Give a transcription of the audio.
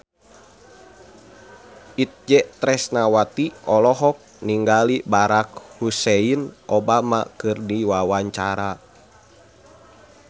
Itje Tresnawati olohok ningali Barack Hussein Obama keur diwawancara